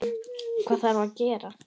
Hvað þarf að gera?